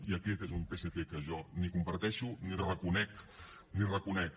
i aquest és un psc que jo ni comparteixo ni reconec ni reconec